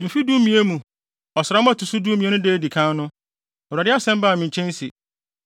Mfe dumien mu, ɔsram a ɛto so dumien no da a edi kan no, Awurade asɛm baa me nkyɛn se: